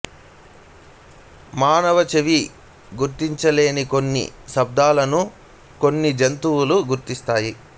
మానవ చెవి గుర్తించలేని కొన్ని శబ్దాలను కొన్ని జంతువులు గుర్తిస్తాయి